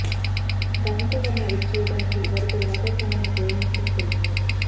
దానితో వారిని అదుపు చేయడానికి వారిపై వాటర్ క్యాన్ లను ప్రయోగించడం జరిగింది